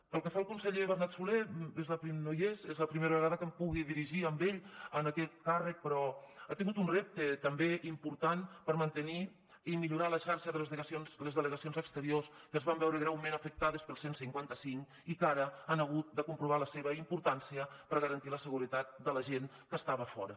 pel que fa al conseller bernat solé no hi és és la primera vegada que em puc dirigir a ell amb aquest càrrec però ha tingut un repte també important per mantenir i millorar la xarxa de les delegacions exteriors que es van veure greument afectades pel cent i cinquanta cinc i que ara han hagut de comprovar la seva importància per garantir la seguretat de la gent que estava fora